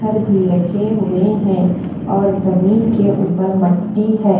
भी रखे हुए हैं और जमीन के ऊपर मट्टी है।